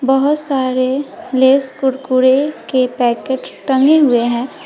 बहोत सारे लेस कुरकुरे के पैकेट टंगे हुए हैं।